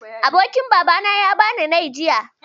Abokin Babana ya bani nai, jiya